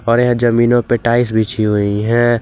और यहां जमीनों पे टाइल्स बिछी हुई है।